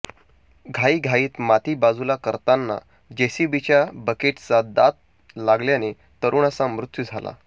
घाईघाईत माती बाजूला करताना जेसीबीच्या बकेटचा दात लागल्याने तरुणाचा मृत्यू झाला